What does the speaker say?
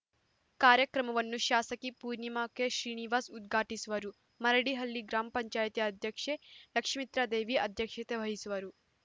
ಕಾರ್ಯಕ್ರಮವನ್ನು ಶಾಸಕಿ ಪೂರ್ಣಿಮಾ ಕೆಶ್ರೀನಿವಾಸ್‌ ಉದ್ಘಾಟಿಸುವರು ಮರಡಿಹಳ್ಳಿ ಗ್ರಾಮ ಪಂಚಾಯತ್ ಅಧ್ಯಕ್ಷೆ ಲಕ್ಷಿತ್ರ್ಮದೇವಿ ಅಧ್ಯಕ್ಷತೆ ವಹಿಸುವರು